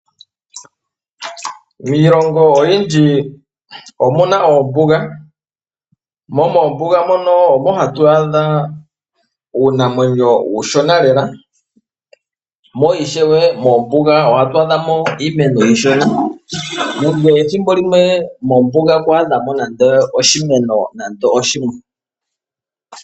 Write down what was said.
Miilongo oyindji omuna oombuga, mo moombuga mono omo hatu adha uunamwenyo uushona lela, mo ishewe moombuga ohatu adhamo iimeno iishona, nenge ethimbo limwe mombuga ku adhamo nande oshimeno nande oshimwe.